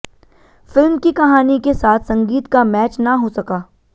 film की कहानी के साथ संगीत का मैच ना हो सका